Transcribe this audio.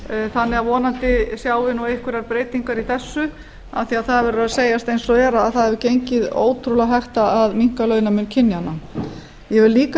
þannig að vonandi sjáum við einhverjar breytingar í þessu af því að það verður að segjast eins og er að það hefur gengið ótrúlega hægt að minnka launamun kynjanna ég vil líka